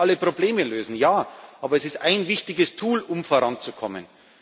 Sie werden nicht alle Probleme lösen, aber es ist ein wichtiges Tool, um voranzukommen.